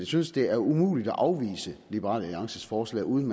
synes det er umuligt at afvise liberal alliances forslag uden